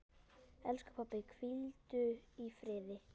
Elsku pabbi, hvíldu í friði.